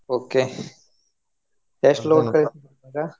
Okay ಎಷ್ಟ್ ಇವಾಗಾ?